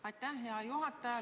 Aitäh, hea juhataja!